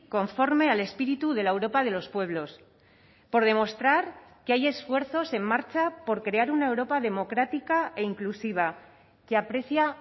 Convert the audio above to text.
conforme al espíritu de la europa de los pueblos por demostrar que hay esfuerzos en marcha por crear una europa democrática e inclusiva que aprecia